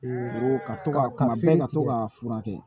Ka to ka to ka fura kɛ